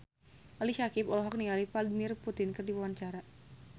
Ali Syakieb olohok ningali Vladimir Putin keur diwawancara